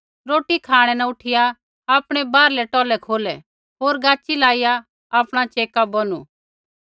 रोटी खाँणै न उठिया आपणै बाहरलै टौलै खोलै होर गाच़ी लाईया आपणा च़ेका बौनु